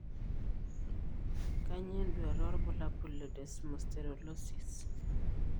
Kanyio enduata wobulabul le Desmosterolosis?